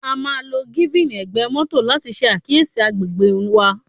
A máà ń lo giving egbe moto láti ṣe àkíyèsí agbègbè wa.